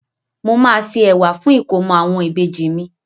Mo máa se ẹ̀wà fún ìkómọ àwọn ìbejì mi.